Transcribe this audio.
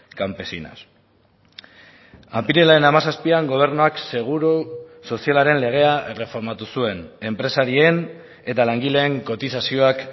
campesinas apirilaren hamazazpian gobernuak seguru sozialaren legea erreformatu zuen enpresarien eta langileen kotizazioak